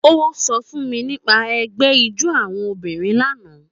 Ó sọ fún mi nípa ẹgbẹ́ ijó àwọn obìnrin lánàá